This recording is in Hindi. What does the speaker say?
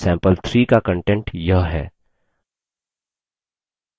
sample3 का कंटेंट यह है